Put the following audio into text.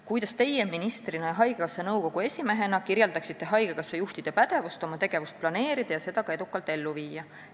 Kuidas teie ministrina ja haigekassa nõukogu esimehena kirjeldaksite haigekassa juhtide pädevust oma tegevust planeerida ja seda ka edukalt ellu viia?